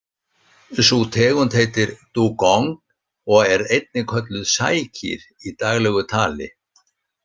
Sú tegund heitir dugong og er einnig kölluð sækýr í daglegu tali.